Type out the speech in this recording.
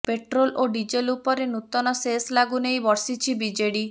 petrol ଓ diesel ଉପରେ ନୂତନ ସେସ ଲାଗୁ ନେଇ ବର୍ଷିଛି ବିଜେଡି